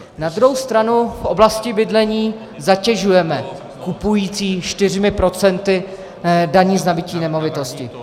Na druhou stranu v oblasti bydlení zatěžujeme kupující čtyřmi procenty daně z nabytí nemovitosti.